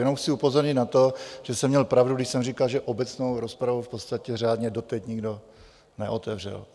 Jenom chci upozornit na to, že jsem měl pravdu, když jsem říkal, že obecnou rozpravu v podstatě řádně doteď nikdo neotevřel.